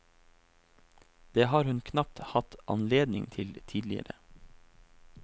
Det har hun knapt hatt anledning til tidligere.